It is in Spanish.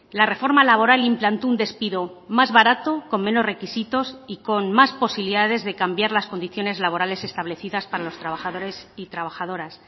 la reforma laboral implantó un despido más barato con menos requisitos y con más posibilidades de cambiar las condiciones laborales establecidas para los trabajadores y trabajadoras